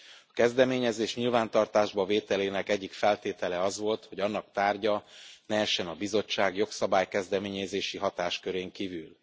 A kezdeményezés nyilvántartásba vételének egyik feltétele az volt, hogy annak tárgya ne essen a Bizottság jogszabály kezdeményezési hatáskörén kívül.